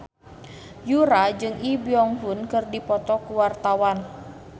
Yura jeung Lee Byung Hun keur dipoto ku wartawan